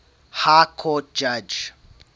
high court judge